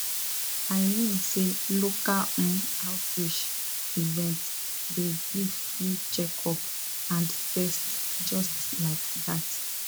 i mean say local um outreach events dey give free checkup and test just like that